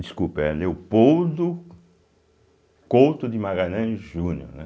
Desculpa, é Leopoldo Couto de Magalhães Júnior, né.